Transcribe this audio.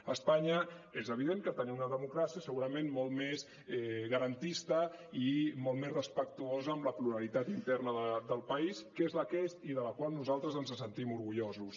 a espanya és evident que tenim una democràcia segurament molt més garantis·ta i molt més respectuosa amb la pluralitat interna del país que és la que és i de la qual nosaltres ens en sentim orgullosos